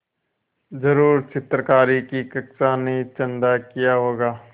ज़रूर चित्रकारी की कक्षा ने चंदा किया होगा